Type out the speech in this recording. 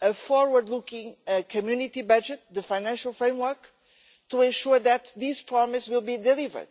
a forward-looking Community budget the financial framework to ensure that these promises will be delivered.